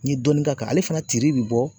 N ye dɔɔni k'a kan. Ale fana tiri bi bɔ